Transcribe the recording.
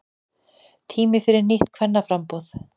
Tími fyrir nýtt kvennaframboð